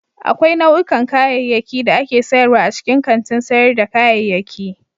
Akwai nau'ikan kayayyaki da ake sayarwa a cikin kantin sayar da kayayyaki.